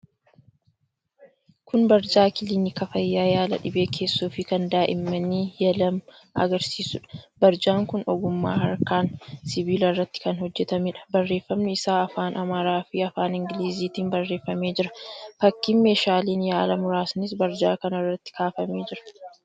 Kun barjaa kilinika fayyaa yaala dhibee keessoofi kan daa'immanii 'Ye-Lemma' agarsiisuudha. Barjaan kun ogummaa harkaan sibiila irratti kan hojjetameedha. Barreeffamni isaa afaan Amaaraafi afaan Ingiliziitiin barreeffamee jira. Fakkiin meeshaaleen yaalaa muraasnis barjaa kana irratti kaafamee jira.